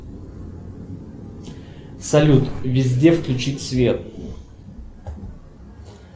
салют везде включить свет